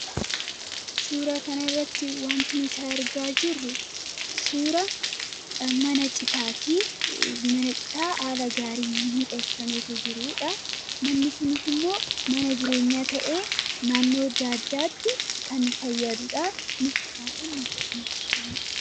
suura kanarratti wanti nuti argaa jirru suura mana citaa haala gaarii miidheeksameeto jiruudha manni kunis immoo mana jireenyaa ta'ee nannoo adda addaatti kan fayyaaduudhaa .